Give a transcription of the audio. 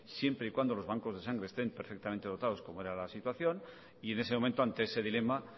siempre y cuando los bancos de sangre estén perfectamente dotados como era la situación y en ese momento ante ese dilema